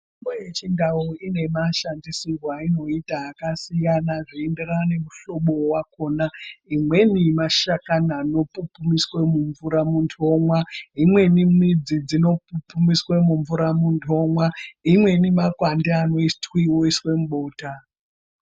Mitombo yechindau ine mashandisirwo ainota akasiyana zvinoenderana nemihlobo wakona. Imweni mashakani anopupumiswa mumvura muntu omwa imweni midzi dzinopupumiswa mumvura muntu omwa imweni makwande anokuiwe oiswe mubota.